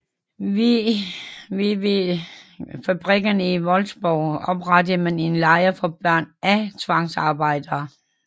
Ved VW fabrikkerne i Wolfsburg oprettede man en lejr for børn af tvangsarbejdere